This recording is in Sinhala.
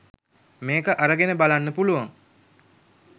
මේක අරගෙන බලන්න පුළුවන්.